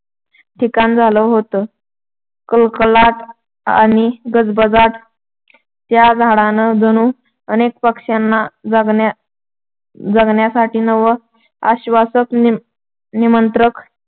ठिकाण झालं होतं. कलकलाट आणि गजबजाट त्या झाडानं जणू अनेक पक्ष्यांना जगण्या जगण्यासाठी नवं आश्‍वासक निमंत्रण